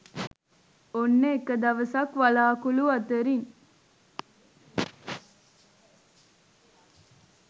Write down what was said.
ඔන්න එක දවසක් වළාකුළු අතරින්